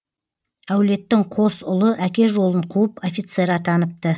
әулеттің қос ұлы әке жолын қуып офицер атаныпты